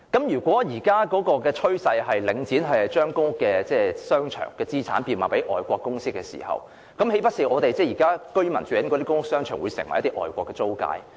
如果領展現時的趨勢是將其公屋商場資產賣給外國基金公司，那豈非表示供居民使用的公屋商場將成為外國租界？